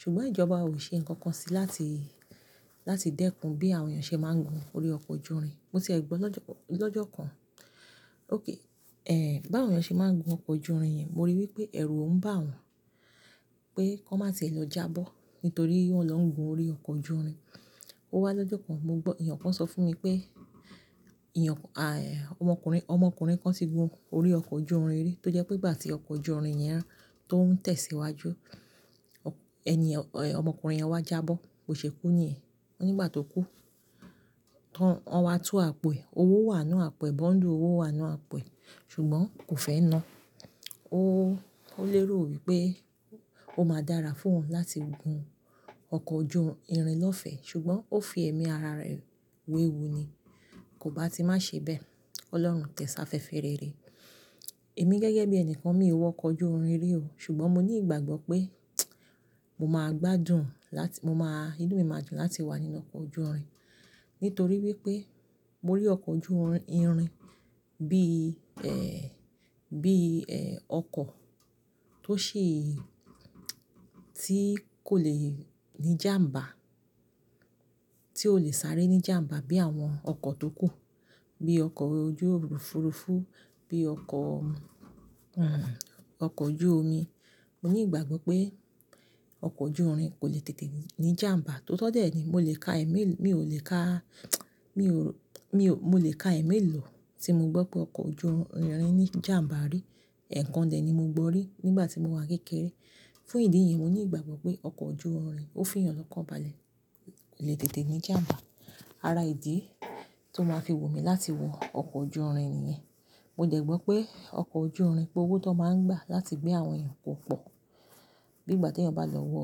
Ṣùgbọ́n ìjọba ò ṣe ǹkan kan síi láti, láti dẹ́kun bí àwọn èèyàn ṣe máa ń gun orí ọkọ̀ ojú irin. Mo ti ẹ gbọ́ lọ́jọ́ kan. Ó kẹ́, ẹ́, bá àwọn èèyàn ṣe máa ń gun ọkọ̀ ojú irin yẹn, mo ríi wípé ẹ̀rù ń bà wọ́n pé kọ́ má ṣe lọ jábọ́ nítorí wọ́n lọ́ ń gun orí ọkọ̀ ojú irin. Ó wá lọ́jọ́ kan, mo gbọ́-- èèyàn kan sọ fún mi pé, èèyàn kàn, àì, ọmọkùnrin, ọmọkùnrin kan ti gun orí ọkọ̀ ojú irin rí, tó jẹ́ pé ìgbà tí ọkọ̀ ojú irin yẹn rán tó ń tẹ̀síwájú, ọ̀, ẹni, ọmọkùnrin yẹn wá jábọ́, ó ṣe kú ni ẹ́. Ó nígbà tó kú, wọ́n, wọ́n wá tú àpo ẹ. Owó wà nínú àpo ẹ, bóńdù owó wà nínú àpẹ, ṣùgbọ́n kò fẹ́ ná. Ó, ó lérò wípé ó máa dára fún wọn láti gun ọkọ̀ ojú irin lọ́fẹ̀ẹ́ ṣùgbọ́n ó fi ẹ̀mí ara rẹ̀ wéwu ni. Kò bá ti má ṣe bẹ́ẹ̀. Ọlọ́run tẹ̀sáfẹfẹ rẹ̀ rè. Èmi gẹ́gẹ́ bí ẹni kan mi ò wọ ọkọ̀ ojú irin rí o ṣùgbọ́n mo ní ìgbàgbọ́ pé mo máa gbádùn láti, mo máa, inú mi máa dùn láti wà nínú ọkọ̀ ojú irin nítorí wípé mo rí ọkọ̀ ojú irin, irin bí, ẹ́, bí, ẹ́, ọkọ̀ tó ṣe tí kò lè ní jàmbá, tí ò le sáré ní jàmbá bí àwọn ọkọ̀ tó kù, bí ọkọ̀ ojú òfuurufú, bí ọkọ̀, hìhán, ọkọ̀ ojú omi. Mo ní ìgbàgbọ́ pé ọkọ̀ ojú irin kò le tètè ní jàmbá. Tó tọ́ dé ni, mo lè ka ẹ̀mí, mi ò lè ka, mi ò, mi ò, mo lè ka ẹ̀mí lò tí mo gbọ́ pé ọkọ̀ ojú irin ní jàmbá rí. Ẹ̀ẹ̀kan dè ni mo gbọ́ rí nígbà tí mo wà kékeré. Fún ìdí yẹn, mo ní ìgbàgbọ́ pé ọkọ̀ ojú irin, ó fi ìyàn lọ́kàn balẹ̀, kò le tètè ní jàmbá. Ara ìdí tó máa fi wù mí láti wọ ọkọ̀ ojú irin nìyẹn. Mo dẹ̀ gbọ́ pé ọkọ̀ ojú irin pé owó tó máa ń gbà láti gbé àwọn èèyàn pọ̀ pọ̀̀ bí ìgbà tí èèyàn bá lọ wọ,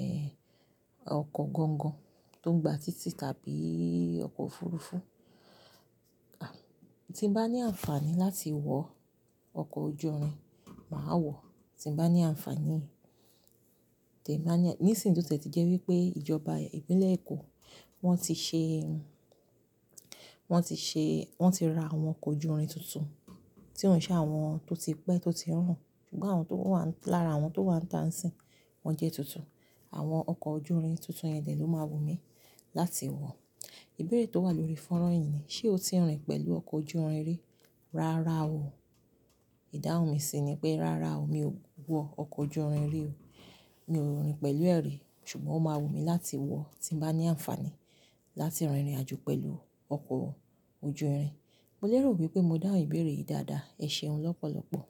ẹ́, ọkọ̀ gangan tó ń gba títì tàbí ọkọ̀ òfuurufú. À, tí n bá ní àǹfààní láti wọ ọkọ̀ ojú irin, màá wọ̀. Tí n bá ní àǹfààní, tì ì bá ní à-- nísìnyí tó tẹ̀ ti jẹ́ wípé ìjọba ìpínlẹ̀ Èkó wọ́n ti ṣe, wọ́n ti ṣe, wọ́n ti ra àwọn ọkọ̀ ojú irin tuntun tí ó ń ṣe àwọn tó ti pẹ́ tó ti rùn. Ṣùgbọ́n àwọn tó wà lára àwọn tó wà níta sín, wọ́n jẹ́ tuntun. Àwọn ọkọ̀ ojú irin tuntun yẹn dè ló máa wù mí láti wọ̀. Ìbéèrè tó wà lórí fónrán yìí ni, ṣe o ti rìn pẹ̀lú ọkọ̀ ojú irin rí? Rárá o. Ìdáhùn mi sì ni pé rárá o, mi ò wọ ọkọ̀ ojú irin rí o. Mi ò rìn pẹ̀lú ẹ̀ rí ṣùgbọ́n ó máa wù mí láti wọ̀ tí n bá ní àǹfààní láti rìnrìnàjò pẹ̀lú ọkọ̀ ojú irin. Mo lérò wípé mo dáhùn ìbéèrè yìí dáadáa. Ẹ ṣeun lọ́pọ̀lọpọ̀.